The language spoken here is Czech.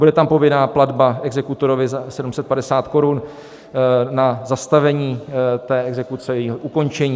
Bude tam povinná platba exekutorovi za 750 korun na zastavení té exekuce, jejího ukončení.